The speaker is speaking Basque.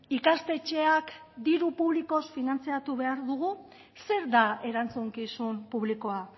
ikastetxeak diru publikoz finantzatu behar dugu zer da erantzukizun publikoa